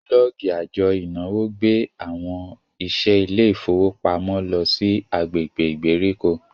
bulọọgi àjò ìnáwó gbé àwọn iṣẹ ilé ifowopamọ ló sì agbègbè ìgbèríko.